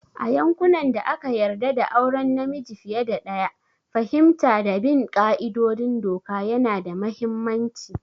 A yankunan da aka yarda da auren namiji fiye da ɗaya, fahimta da bin ƙa'idodin doka yana da mahimmanci